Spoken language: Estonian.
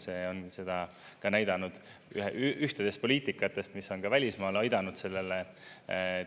See on seda ka näidanud, ühtedest poliitikatest, mis on ka välismaal aidanud sellele